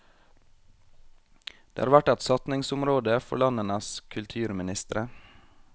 Det har vært et satsingsområde for landenes kulturministre.